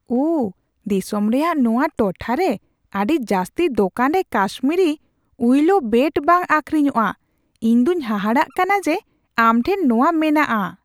ᱳᱦ ! ᱫᱤᱥᱚᱢ ᱨᱮᱭᱟᱜ ᱱᱚᱣᱟ ᱴᱚᱴᱷᱟ ᱨᱮ ᱟᱹᱰᱤ ᱡᱟᱹᱥᱛᱤ ᱫᱳᱠᱟᱱ ᱨᱮ ᱠᱟᱥᱢᱤᱨᱤ ᱩᱤᱞᱳ ᱵᱮᱴ ᱵᱟᱝ ᱟᱹᱠᱷᱨᱤᱧᱚᱜᱼᱟ ᱾ ᱤᱧ ᱫᱚᱧ ᱦᱟᱦᱟᱲᱟᱜ ᱠᱟᱱᱟ ᱡᱮ ᱟᱢ ᱴᱷᱮᱱ ᱱᱚᱣᱟ ᱢᱮᱱᱟᱜᱼᱟ ᱾